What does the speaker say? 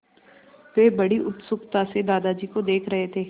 वे बड़ी उत्सुकता से दादाजी को देख रहे थे